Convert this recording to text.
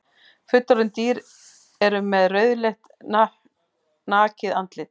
Fullorðin dýr eru með rauðleitt nakið andlit.